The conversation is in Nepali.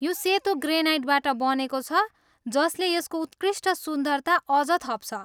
यो सेतो ग्रेनाइटबाट बनेको छ जसले यसको उत्कृष्ट सुन्दरता अझ थप्छ।